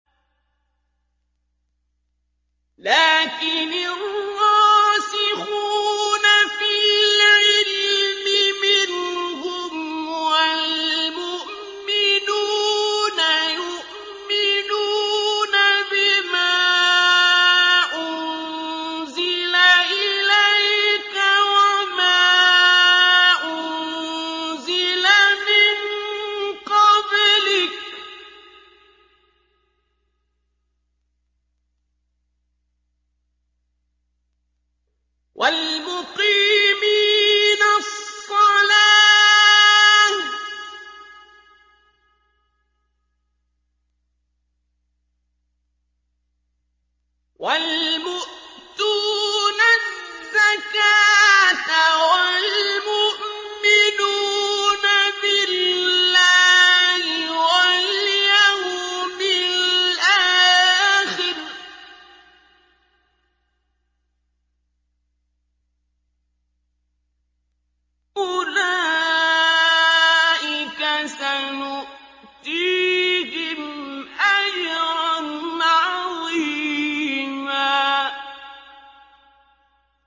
لَّٰكِنِ الرَّاسِخُونَ فِي الْعِلْمِ مِنْهُمْ وَالْمُؤْمِنُونَ يُؤْمِنُونَ بِمَا أُنزِلَ إِلَيْكَ وَمَا أُنزِلَ مِن قَبْلِكَ ۚ وَالْمُقِيمِينَ الصَّلَاةَ ۚ وَالْمُؤْتُونَ الزَّكَاةَ وَالْمُؤْمِنُونَ بِاللَّهِ وَالْيَوْمِ الْآخِرِ أُولَٰئِكَ سَنُؤْتِيهِمْ أَجْرًا عَظِيمًا